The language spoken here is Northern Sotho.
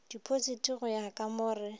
dipositi go ya ka mo